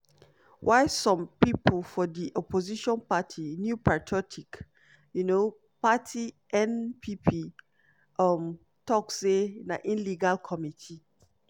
while some pipo for di opposition party (new patriotic um party -npp) um tok say na illegal committee